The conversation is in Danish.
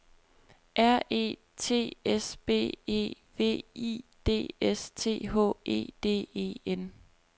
R E T S B E V I D S T H E D E N